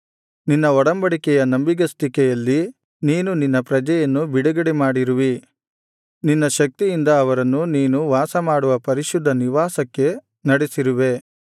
ನಿನ್ನ ಒಡಂಬಡಿಕೆಯ ನಂಬಿಗಸ್ತಿಕೆಯಲ್ಲಿ ನೀನು ನಿನ್ನ ಪ್ರಜೆಯನ್ನು ಬಿಡುಗಡೆ ಮಾಡಿರುವೆ ನಿನ್ನ ಶಕ್ತಿಯಿಂದ ಅವರನ್ನು ನೀನು ವಾಸಮಾಡುವ ಪರಿಶುದ್ಧ ನಿವಾಸಕ್ಕೆ ನಡೆಸಿರುವೆ